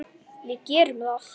Við gerðum það.